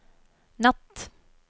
natt